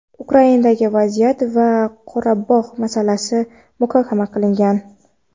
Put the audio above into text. Ukrainadagi vaziyat va Qorabog‘ masalasini muhokama qilgan.